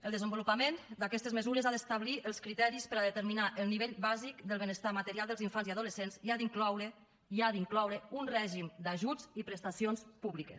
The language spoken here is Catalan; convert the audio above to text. el desenvolupament d’aquestes mesures ha d’establir els criteris per determinar el nivell bàsic del benestar material dels infants i adolescents i ha d’incloure i ha d’incloure un règim d’ajuts i prestacions públiques